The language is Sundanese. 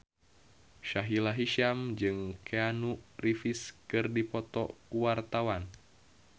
Sahila Hisyam jeung Keanu Reeves keur dipoto ku wartawan